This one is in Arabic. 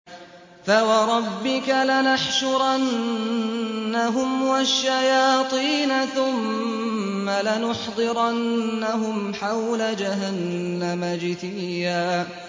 فَوَرَبِّكَ لَنَحْشُرَنَّهُمْ وَالشَّيَاطِينَ ثُمَّ لَنُحْضِرَنَّهُمْ حَوْلَ جَهَنَّمَ جِثِيًّا